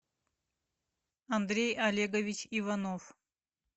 андрей олегович иванов